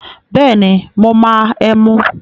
Bẹ́ẹ̀ni, mo máa ẹmu.